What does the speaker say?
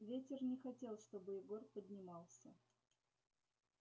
ветер не хотел чтобы егор поднимался